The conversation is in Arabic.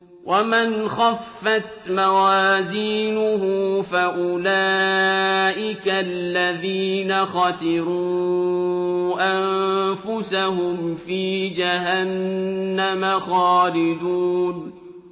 وَمَنْ خَفَّتْ مَوَازِينُهُ فَأُولَٰئِكَ الَّذِينَ خَسِرُوا أَنفُسَهُمْ فِي جَهَنَّمَ خَالِدُونَ